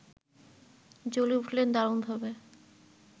জ্বলে উঠলেন দারুণভাবে